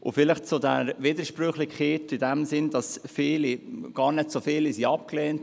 Noch zu der Widersprüchlichkeit, die aufgetaucht ist, als gesagt wurde, es würden gar nicht so viele Gesuche abgelehnt: